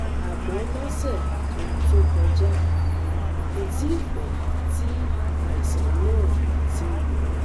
àmọ́ lọ́sẹ̀ kan tó kọjá, kò tíì pẹ́ tí àìsàn náà ti ń lọ